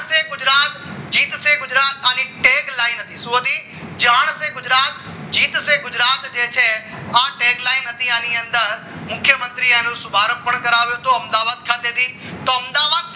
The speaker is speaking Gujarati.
જીતશે ગુજરાત આને એક લાઈન હતી જાણશે ગુજરાત જીતશે ગુજરાત જે છે માં headline હતી આની અંદર મુખ્યમંત્રી એને શુભારંભ પણ કરાવ્યો હતો અમદાવાદ ખાતેથી તો અમદાવાદ